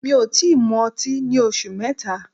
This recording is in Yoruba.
Mi ò tí mu ọtí ní oṣù mẹ́ta.